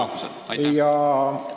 Aitüma!